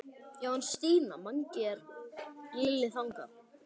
Já en Stína, Mangi er. Lilla þagnaði.